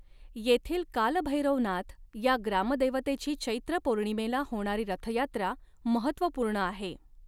येथील कालभैरवनाथ या ग्रामदेवतेची चैत्र पौर्णिमेला होणारी रथयात्रा महत्त्वपूर्ण आहे.